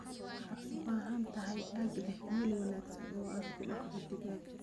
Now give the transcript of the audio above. Waxaad u baahan tahay aag leh meel wanaagsan oo aad ku dhaqdo digaagga.